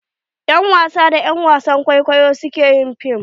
yan wasa da er wasan kwaikwayo su ke yin fim.